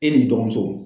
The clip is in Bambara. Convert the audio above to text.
E n'i dɔgɔmuso